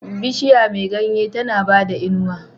Bishiya me ganye tAna bada inuwa